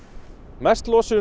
mest losun